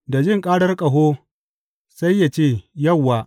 Da jin ƙarar ƙaho sai ya ce, Yauwa!’